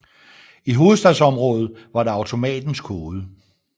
I Hovedstadsområdet var det automatens kode